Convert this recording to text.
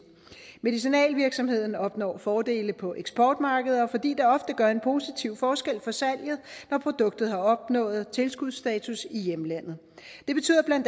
medicinalvirksomheden opnår fordele på eksportmarkeder fordi det ofte gør en positiv forskel for salget når produktet har opnået tilskudsstatus i hjemlandet det betyder bla